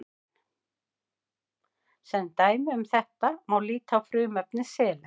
sem dæmi um þetta má líta á frumefni selen